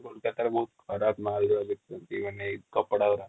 ଆଉ କୋଲକାତା